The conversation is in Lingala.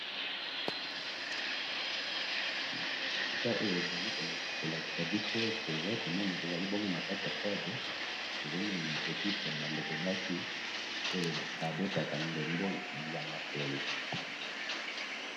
Na esika oyo bazali ko lakisa biso tozali komona ezali bongo na kati ya stade, tozo mona equipe ya ba ndeko basi oyo ba betaka ndembo ya makolo.